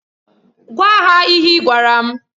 Gwa ha ihe ị gwara m!